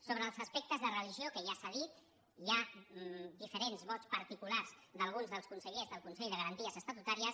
sobre els aspectes de religió que ja s’ha dit hi ha diferents vots particulars d’alguns dels consellers del consell de garanties estatutàries